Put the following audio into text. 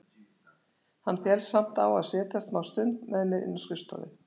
Hann fellst samt á að setjast smástund með mér inn á skrifstofu.